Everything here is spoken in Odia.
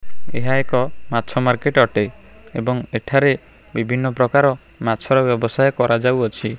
ଏକ ମାଛ ମାର୍କେଟ ଅଟେ ଏଵଂ ଏଠାରେ ବିଭିନ୍ନ ପ୍ରକାର ମାଛ ର ବ୍ୟବସାୟ କରାଯାଉଅଛି।